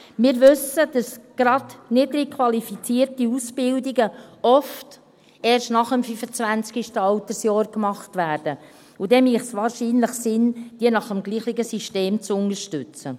Wir wissen, dass gerade niedrig qualifizierte Ausbildungen oft erst nach dem 25. Altersjahr gemacht werden, und dann würde es wahrscheinlich Sinn machen, diese nach dem gleichen System zu unterstützen.